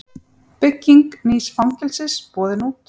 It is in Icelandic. Bygging nýs fangelsis boðin út